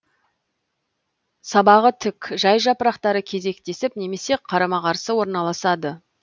сабағы тік жай жапырақтары кезектесіп немесе қарамауылықарсы орналасады